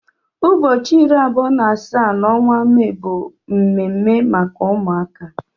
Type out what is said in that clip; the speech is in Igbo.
Ụbọchị iri abụọ na asaa n'ọnwa Mee bụ mme mme maka ụmụaka.